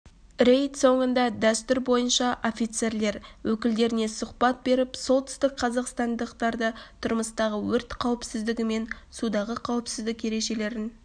рейд соңында дәстүр бойынша офицерлер өкілдеріне сұхбат беріп солтүстік қазақстандықтарды тұрмыстағы өрт қауіпсіздігі мен судағы қауіпсіздік ережелерін